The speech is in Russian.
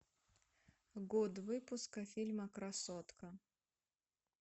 год выпуска фильма красотка